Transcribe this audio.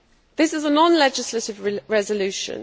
This is a non legislative resolution.